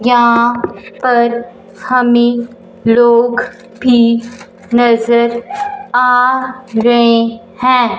यहां पर हमें लोग भी नजर आ रहे हैं।